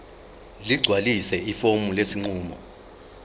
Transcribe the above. ligcwalise ifomu lesinqumo